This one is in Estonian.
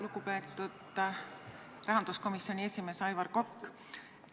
Lugupeetud rahanduskomisjoni esimees Aivar Kokk!